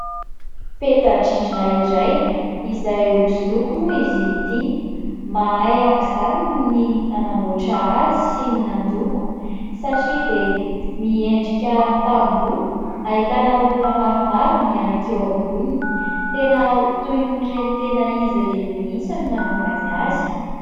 Peta-drindrina iray izay hosodoko moa izy ity. Mahay aok'izany ny nanamboatra azy sy ny nandoko. satria dia miendrika tamboho, ahitana olona maromaro mihanika eo amboniny. Tena toy ireny tena izy ireny mihitsy ny nanaovany azy.